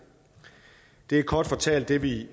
det er kort fortalt det vi